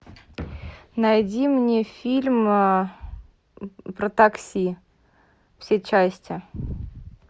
найди мне фильм про такси все части